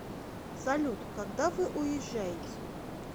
салют когда вы уезжаете